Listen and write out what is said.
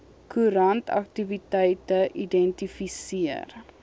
koerant aktiwiteite identifiseer